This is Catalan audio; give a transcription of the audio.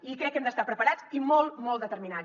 i crec que hem d’estar preparats i molt molt determinats